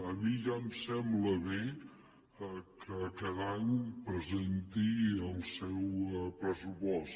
a mi ja em sembla bé que cada any presenti el seu pressupost